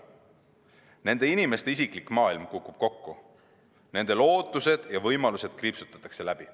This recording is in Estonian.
Nende inimeste isiklik maailm kukub kokku, nende lootused ja võimalused kriipsutatakse läbi.